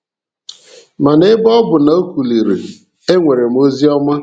Mana ebe ọ bụ na o kuliri, e nwere ozi ọma